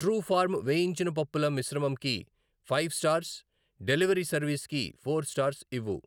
Truefarm వేయించిన పప్పుల మిశ్రమంకి ఫైవ్ స్టార్స్, డెలివరీ సర్వీస్ కి ఫోర్ స్టార్స్ ఇవ్వు.